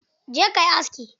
Je kayi aski!